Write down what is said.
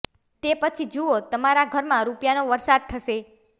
તે પછી જુઓ તમારા ઘરમાં રૂપિયાનો વરસાદ થશે